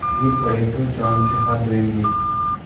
गिर पड़े तो जान से हाथ धोयेंगे